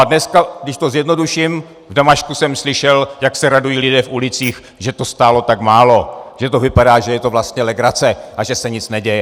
A dneska, když to zjednoduším, v Damašku jsem slyšel, jak se radují lidé v ulicích, že to stálo tak málo, že to vypadá, že je to vlastně legrace a že se nic neděje.